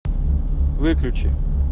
выключи